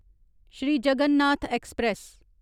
Shri Jagannath express